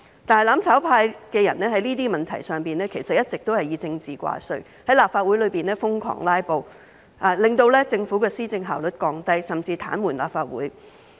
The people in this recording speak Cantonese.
但是，"攬炒派"的人在這些問題上一直以政治掛帥，在立法會內瘋狂"拉布"，令政府的施政效率降低，甚至癱瘓立法會。